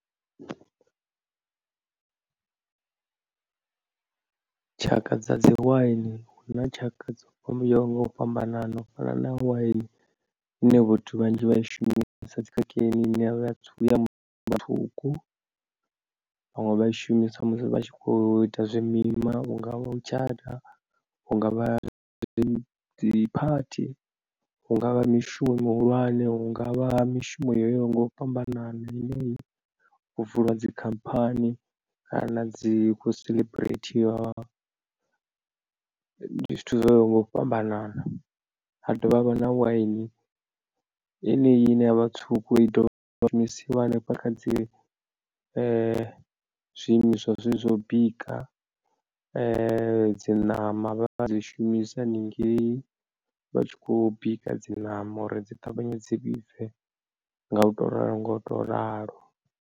Tshaka dza dzi waini huna tshaka dzo fhamba dzo yaho ngau fhambanana u fana na waini ine vhathu vhanzhi vha i shumisa dzi kerekeni ine yavha ya vhaṅwe vha i shumisa musi vha tshi kho ita zwimima hungavha u tshata hungavha dzi dziphathi hungavha mishumo mihulwane hungavha mishumo yo yaho nga u fhambanana ine ho vulwa dzikhamphani kana dzi khou seḽeburethiwa. Ndi zwithu zwoyaho nga u fhambanana ha dovha havha na waini yeneyi ine yavha tswuku i dovha rengisiwa hanefha kha dzi zwiimiswa zwezwi zwo bika dzi ṋama vha dzi shumisa haningei vha tshi khou bika dzi ṋama uri dzi ṱavhanye dzi vhibve nga u to ralo ngo u to ralo.